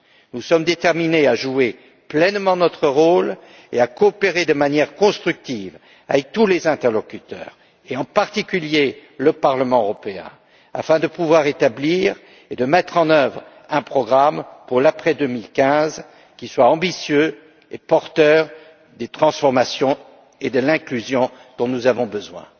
Nous sommes déterminés à jouer pleinement notre rôle et à coopérer de manière constructive avec tous les interlocuteurs et, en particulier, le Parlement européen afin de pouvoir établir et mettre en œuvre un programme pour l'après 2015 qui soit ambitieux et porteur des transformations et de l'inclusion dont nous avons besoin.